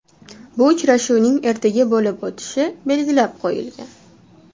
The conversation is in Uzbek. Bu uchrashuvning ertaga bo‘lib o‘tishi belgilab qo‘yilgan.